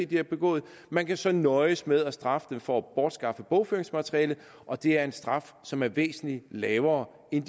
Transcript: de har begået man kan så nøjes med at straffe dem for at bortskaffe bogføringsmateriale og det er en straf som er væsentlig lavere end